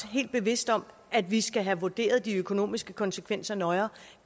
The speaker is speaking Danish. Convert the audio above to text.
helt bevidste om at vi skal have vurderet de økonomiske konsekvenser nøjere